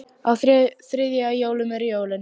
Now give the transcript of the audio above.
Á þriðja í jólum eru jólin.